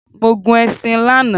Mo gun ẹṣin lana